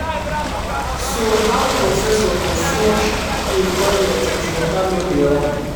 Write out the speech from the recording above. so how professor go flush im toilet if water no dey run?